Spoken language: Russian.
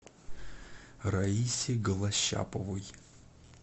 раисе голощаповой